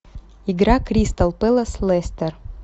игра кристал пэлас лестер